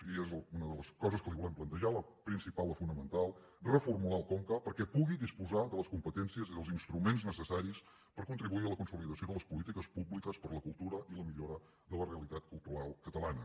i és una de les coses que li volem plantejar la principal la fonamental reformular el conca perquè pugui disposar de les competències i dels instruments necessaris per contribuir a la consolidació de les polítiques públiques per a la cultura i la millora de la realitat cultural catalana